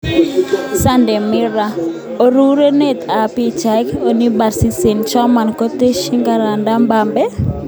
(Sunday Morror) Arorunet ab pichait, Ani Paris St-Germain koteschin kandaras Mbappe?